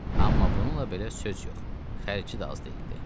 Amma bununla belə söz yox, xərci də az deyildi.